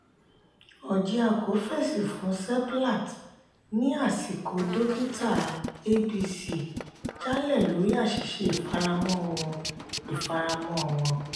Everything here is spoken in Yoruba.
orjiako fèsì fún seplat ní àsìkò dókítà abc jalẹ lórí àṣìṣe ifaramọ wọn. ifaramọ wọn.